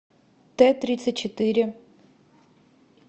т тридцать четыре